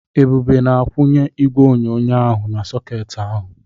Ebube na-akwunye igwe onyonyo ahụ na-sọketị ahụ.